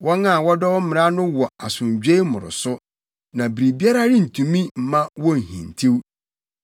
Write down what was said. Wɔn a wɔdɔ wo mmara no wɔ asomdwoe mmoroso, na biribiara rentumi mma wonhintiw.